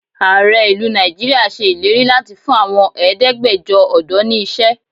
Ààrẹ ìlú Nigeria ṣe ìlérí láti fún àwọn Ẹ̀ẹ́dẹ́gbẹjọ ọ̀dọ́ ni iṣẹ́.